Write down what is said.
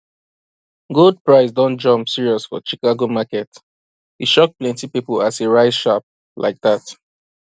gold price don jump serious for chicago market e shock plenty people as e rise sharp like that